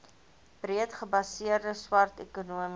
breedgebaseerde swart ekonomiese